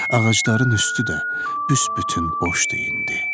Ağacların üstü də büs-bütün boşdu indi.